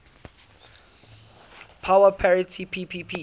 power parity ppp